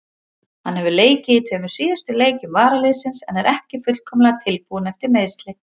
Hann hefur leikið í tveimur síðustu leikjum varaliðsins en er ekki fullkomlega tilbúinn eftir meiðsli.